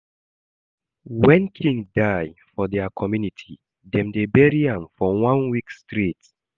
When king die for dia community, dem dey bury am for one week straight